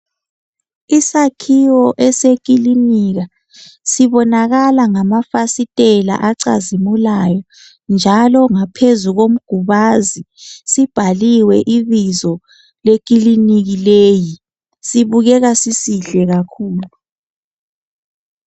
Isakhiwo esekilinika sibonakala ngamafasitela acazimulayo njalo ngaphezu komgubazi sibhaliwe ibizo lekilinika leyi sibukeka sisihle kakhulu.